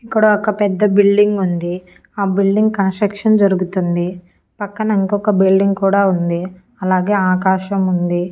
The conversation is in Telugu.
ఇక్కడ ఒక పెద్ద బిల్డింగ్ ఉంది ఆ బిల్డింగ్ కన్స్ట్రక్షన్ జరుగుతుంది పక్కన ఇంకొక బిల్డింగ్ కూడా ఉంది అలాగే ఆకాశం ఉంది.